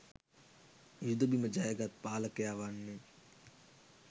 යුද බිම ජය ගත් පාලකයා වන්නේ